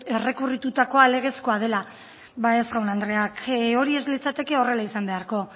errekurritutakoa legezkoa dela ba ez jaun andreak hori ez litzateke horrela izan beharko